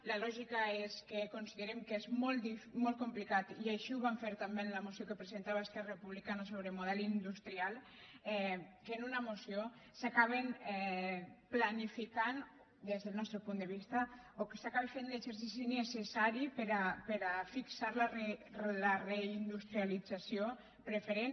la lògica és que considerem que és molt complicat i així ho vam fer també en la moció que presentava esquerra republicana sobre model industrial que en una moció s’acabin planificant des del nostre punt de vista o que s’acabi fent l’exercici necessari per a fixar la reindustrialització preferent